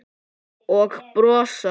Og brosa.